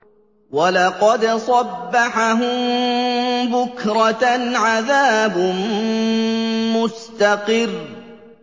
وَلَقَدْ صَبَّحَهُم بُكْرَةً عَذَابٌ مُّسْتَقِرٌّ